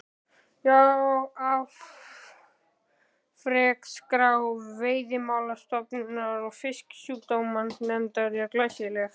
Já, afrekaskrá Veiðimálastofnunar og Fisksjúkdómanefndar er glæsileg.